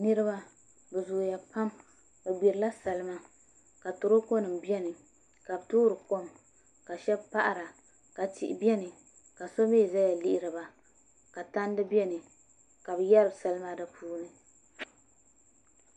Niraba bi zooya pam bi gbirila salima ka toroko nim biɛni ka bi toori kom ka shab paɣara ka tihi biɛni ka so mii ʒɛya lihiriba ka tandi biɛni ka bi yaari salima di puuni